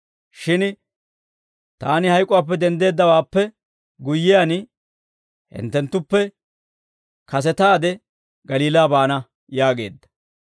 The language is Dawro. Shin taani hayk'uwaappe denddeeddawaappe guyyiyaan, hinttenttuppe kasetaade Galiilaa baana» yaageedda.